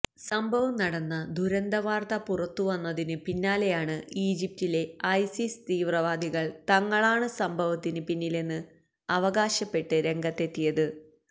സംഭവം നടന്ന ദുരന്ത വാർത്ത പുറത്തുവന്നതിന് പിന്നാലെയാണ് ഈജിപ്തിലെ ഐസിസ് തീവ്രവാദികൾ തങ്ങളാണ് സംഭവത്തിന് പിന്നിലെന്ന് അവകാശപ്പെട്ട് രംഗത്തെത്തിയത്